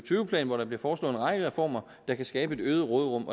plan hvor der bliver foreslået en række reformer der kan skabe et øget råderum